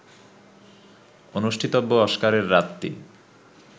অনুষ্ঠিতব্য অস্কারের রাতটি